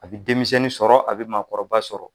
A bɛ denmisɛnni sɔrɔ a bi maakɔrɔba sɔrɔ